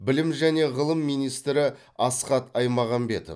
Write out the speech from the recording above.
білім және ғылым министрі асхат аймағамбетов